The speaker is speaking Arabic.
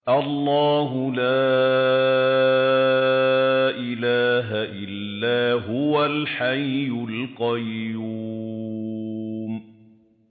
اللَّهُ لَا إِلَٰهَ إِلَّا هُوَ الْحَيُّ الْقَيُّومُ